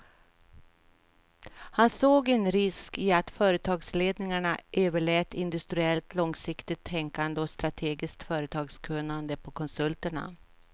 Han såg en risk i att företagsledningarna överlät industriellt långsiktigt tänkande och strategiskt företagskunnande på konsulterna.